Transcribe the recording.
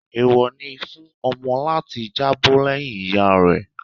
Èèwọ̀ ni fún ọmọ láti jábọ́ lẹ́yìn ìyá rẹ